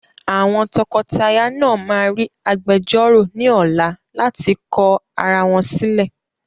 Àwọn tọkọtaya náà ma rí agbejọ́rọ̀ ní ọ̀la láti kọ arawọn sílẹ̀.